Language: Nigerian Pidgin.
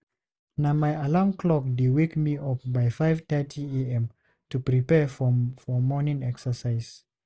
Na my alarm clock dey wake me up by 5:30am to prepare for morning exercise.